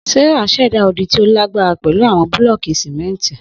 Sarah ṣẹda odi ti o lagbara pẹlu awọn bulọọki simenti